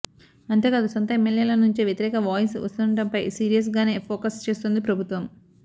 అంతేకాదు సొంత ఎమ్మెల్యేల నుంచే వ్యతిరేక వాయిస్ వస్తుండటంపై సీరియస్ గానే ఫోకస్ చేస్తోంది ప్రభుత్వం